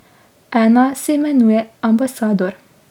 Ena se imenuje Ambasador.